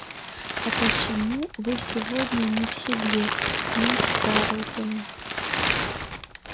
а почему вы сегодня не в седле миссис тарлтон